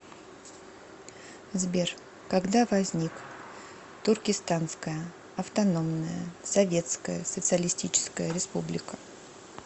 сбер когда возник туркестанская автономная советская социалистическая республика